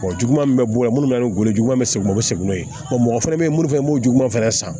juguman min be bɔ yen munnu be yen ngolo juguman be segu segin n'o ye mɔgɔ fɛnɛ be yen munnu fɛnɛ b'o juguman fɛnɛ san